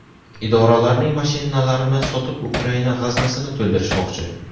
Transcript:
Idoralarning mashinalarini sotib Ukraina g‘aznasini to‘ldirishmoqchi.